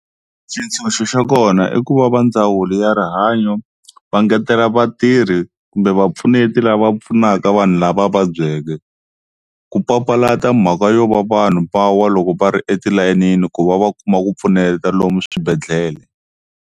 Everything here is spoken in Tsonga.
Xintshunxo xa kona i ku va va ndzawulo ya rihanyo va ngetela vatirhi kumbe vapfuneti lava pfunaka vanhu lava va vabyeke, ku papalata mhaka yo va vanhu va wa loko va ri etilayenini ku va va kuma ku pfuneta lomu swibedhlele.